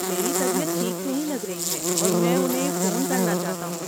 میری طبیعت ٹھیک نہیں لگ رہی ہے اور میں انہیں فون کرنا چاہتا ہوں۔